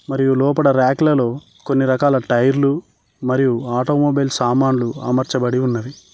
మరియు లోపట రాకులలో కొన్ని రకాల టైర్లు మరియు ఆటోమొబైల్ సామాన్లు అమర్చబడి ఉన్నావి.